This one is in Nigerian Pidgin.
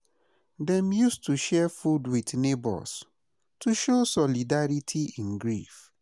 Dem use to share food with neighbors, to show solidarity in grief.